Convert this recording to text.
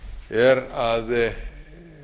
er að kosið er